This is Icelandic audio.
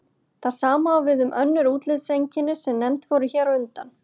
Það sama á við um önnur útlitseinkenni sem nefnd voru hér á undan.